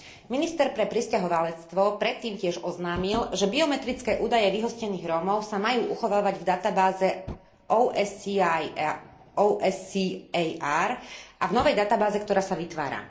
Minister pre prisťahovalectvo predtým tiež oznámil, že biometrické údaje vyhostených Rómov sa majú uchovávať v databáze OSCAR a v novej databáze, ktorá sa vytvára.